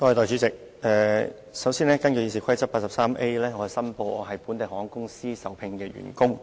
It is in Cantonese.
首先，我根據《議事規則》第 83A 條申報，我是本地航空公司的受聘員工。